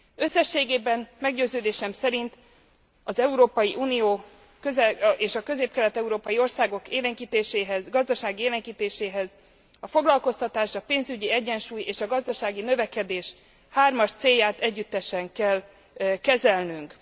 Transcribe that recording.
Összességében meggyőződésem szerint az Európai Unió és a közép kelet európai országok gazdasági élénkítéséhez a foglalkoztatás, a pénzügyi egyensúly és a gazdasági növekedés hármas célját együttesen kell kezelnünk.